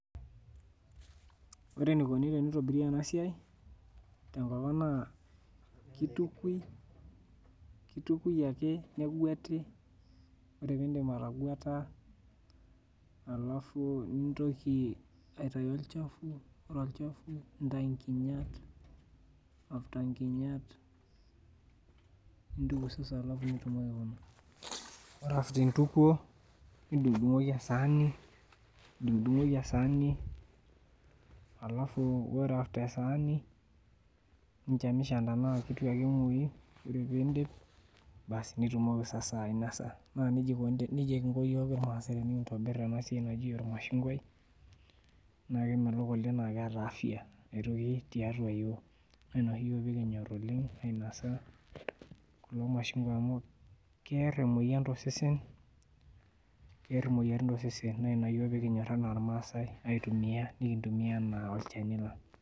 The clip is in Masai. Ore enikuni tenitobiri enasia tenkop aang na kitukui ake negueti ore pindip atagueta ore olchafu nintau nkinyat nintuku ore indipa aituku nadungdungoki esaani ninchamicham anaa kengoyi ore pidim ningasaa ainasa na nejia nejia ikuni irmaasai tenikiguet irmashungwai na kemelok oleng na keeta afya na ina oshi pekinyor yiok ainosa kulo mashungwa amu kear emoyian tosesen na ina pekinyor yiok aitumia anaa irmaasai nimintumia anaa olchani lang.